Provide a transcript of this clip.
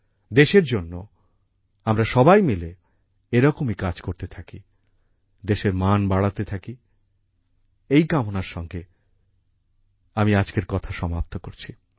দেশের জন্য আমরা সবাই মিলে এরকমই কাজ করতে থাকি দেশের মান বাড়াতে থাকি এই কামনার সঙ্গে আমি আজকের কথা সমাপ্ত করছি